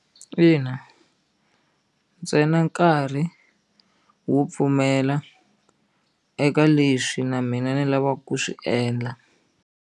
Ina ntsena nkarhi wo pfumela eka leswi na mina ni lavaka ku swi endla.